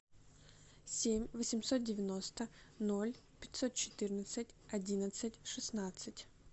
семь восемьсот девяносто ноль пятьсот четырнадцать одиннадцать шестнадцать